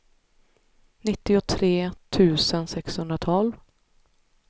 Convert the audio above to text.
nittiotre tusen sexhundratolv